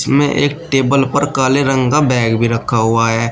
में एक टेबल पर काले रंग का बैग भी रखा हुआ है।